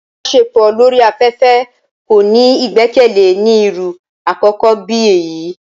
Ìbaṣepọ lori afẹfẹ ko ni igbẹkẹle ni iru àkókó bi eyi.